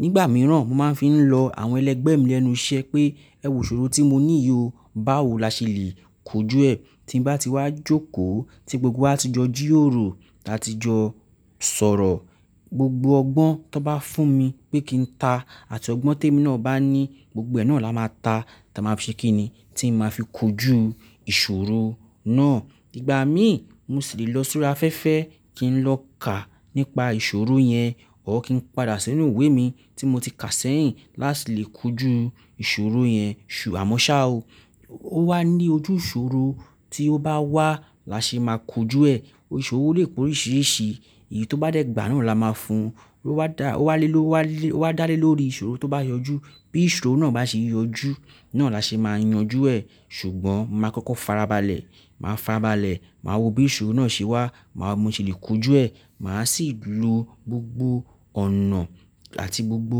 nígbà mìíràn mo máa ń fi lọ àwọn ẹlẹgbẹ́ mi lẹ́nu iṣẹ́ pé ẹwù ìṣòro tí mo ní yìí o, báwo la ṣe lè kojú ẹ? Tí bá ti wá jókòó tí gbogbo wa ti jọ ji ròro, ti a ti jọ sọ̀rọ̀, gbogbo ọgbọ́n tí wọ́n bá fún mi pé kí n ta àti ọgbọ́n tèmi náà bá ní, gbogbo ẹ náà la máa ta, tà máa ṣe kí ni? Tí n máa fi kojú ìṣòro náà. Ìgbà mí, mo ṣì lè lọ si órí afẹ́fẹ́ kí n lọ kà nípa ìṣòro yẹn, or kí n padà sínú ìwé mi tí mo ti kà sẹ́yìn láti lè kojú ìṣòro yẹn. Àmọ́ ṣa o. Ó wá ní ojú ìṣòro tí ó bá wá la ṣe máa kojú ẹ. Òṣòro lè koríṣìíríṣìí, èyí tó bá dẹ́ gbà náà la máa fún. Ó wá dá, ó wá lé ló wá lé, ó wá dálé lórí ìṣòro tó bá yọjú. Bí ìṣòro náà bá ṣe yọjú náà la ṣe máa yanjú ẹ. Ṣùgbọ́n màá kọ́kọ́ farabalẹ̀, màá farabalẹ̀, màá wo bí ìṣòro náà ṣe wà, màá mo ṣè lè kojú ẹ. Màá sì lo gbogbo ọ̀nà àti gbogbo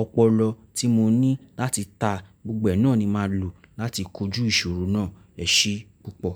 ọpọlọ tí mo ní láti ta, gbogbo ẹ náà ni màá lò láti kojú ìṣòro náà. Ẹ ṣé púpọ̀.